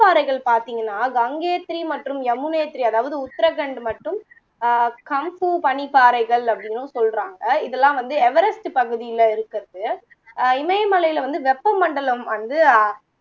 பாறைகள் பாத்தீங்கன்னா கங்கேத்திரி மற்றும் யமுனேத்திரி அதாவது உத்தரகண்டு மற்றும் அஹ் கம்ஃபூ பனிப்பாறைகள் அப்படின்னும் சொல்லுறாங்க இதெல்லாம் வந்து எவரெஸ்டு பகுதியில இருக்குறது அஹ் இமயமலைல வந்து வெப்ப மண்டலம் வந்து அ